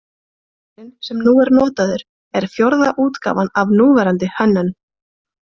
Bikarinn sem nú er notaður er fjórða útgáfan af núverandi hönnun.